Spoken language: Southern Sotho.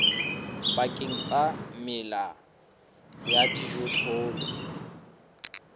pakeng tsa mela ya dijothollo